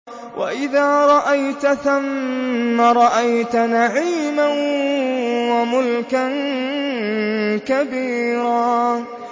وَإِذَا رَأَيْتَ ثَمَّ رَأَيْتَ نَعِيمًا وَمُلْكًا كَبِيرًا